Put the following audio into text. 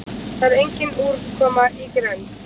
það er engin úrkoma í grennd